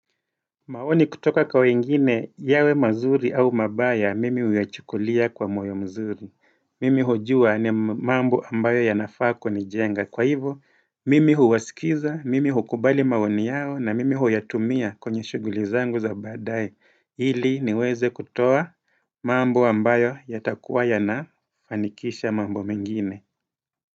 Maoni kutoka kwa wengine yawe mazuri au mabaya mimi huyachukulia kwa moyo mzuri, mimi hujuu ni mambo ambayo yanaa kunijenga, kwa hivyo mimi huwasikiza, mimi hukubali maoni yao na mimi huyatumia kwenye shughuli zangu za baadaye, hili niweze kutoa mambo ambayo yatakuwaya na fanikisha mambo mengine.